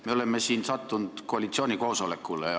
Me oleme siin sattunud koalitsioonikoosolekule.